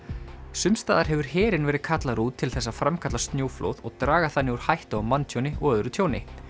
sums staðar hefur herinn verið kallaður út til þess að framkalla snjóflóð og draga þannig úr hættu á manntjóni og öðru tjóni